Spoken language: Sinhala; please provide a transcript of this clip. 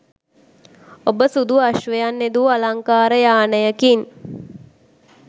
ඔබ සුදු අශ්වයන් යෙදූ අලංකාර යානයකින්